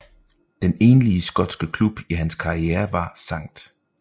Den enlige skotske klub i hans karriere var St